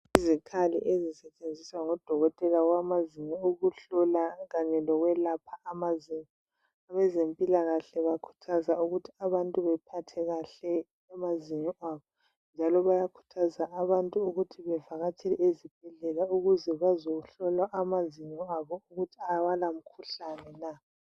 Izikhali ezisentshenziswa ngudokotela wamazinyo ukuhlola Kanye lokwelapha amazinyo abazempilakahle bakhuthaza ukuthi abantu bephathe kahle amazinyo abo njalo bayakhuthaza abantu ukuthi bevakatshele ezibhedlela ukuze bazohlolwa amazinyo wabo ukuthi awala mkhuhlani na